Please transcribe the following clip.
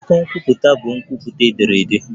Akwụkwọ nkwupụta bụ nkwupụta ederede.